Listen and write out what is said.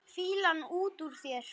Fýlan út úr þér!